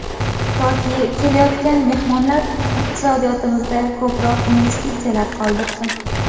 Toki, kelayotgan mehmonlar iqtisodiyotimizda ko‘proq investitsiyalar qoldirsin.